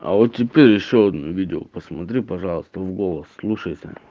а вот теперь ещё видео посмотри пожалуйста в голос вслушайся